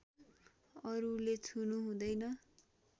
अरूले छुनु हुँदैन